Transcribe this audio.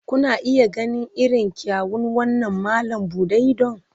Kuna iya ganin irin kyawun wannan malam buɗe idon?